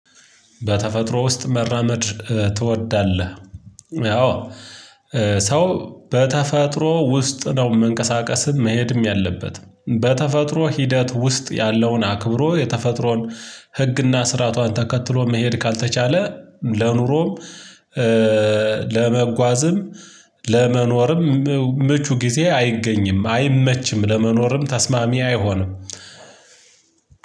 በተፈጥሮ ውስጥ መራመድ ትወዳለህ? አወ ሰው በተፈጥሮ ውስጥ ነው መንቀሳቀስም መሄድም ያለበት በተፈጥሮ ሂደት ውስጥ ያለውን አክብሮ የተፈጥሮን ህግና ስርዓቷን ተከትሎ መሄድ ካልተቻለ ለኑሮም ለመጓዝም ለመኖርም ምቹ ጊዜ አይገኝም አይመችም። ለመኖርም ተስማሚ አይሆንም።